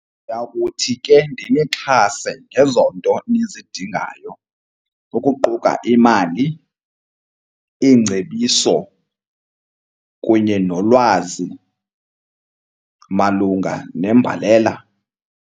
Ndiya kuthi ke ndinixhase ngezo nto nizidingayo, ukuquka imali, iingcebiso kunye nolwazi malunga nembalela.